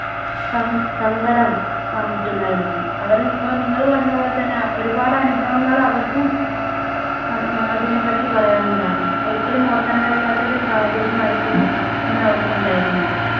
Some സങ്കടം വന്നിട്ടുണ്ടായിരിക്കും. അവരെ ഇപ്പോൾ നിങ്ങൾ പറഞ്ഞ പോലെ തന്നെ ഒരുപാട് അനുഭവങ്ങൾ അവർക്കും അം~ അതിനെപ്പറ്റി പറയാനുണ്ടാവും. ഒരിക്കലും ഓർക്കാൻ കഴിയാത്ത ഒരു സാഹചര്യമായിരിക്കും അന്ന് അവർക്ക് ഉണ്ടായിരുന്നത്.